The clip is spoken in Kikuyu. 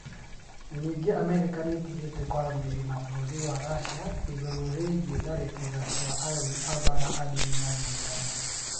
Ningĩ Amerika nĩ ĩtigĩte kwaranĩria na bũrũri wa Racia igũrũ rĩgiĩ tharĩkĩro cia arũi a mbaara a ndini ya gĩithiramu.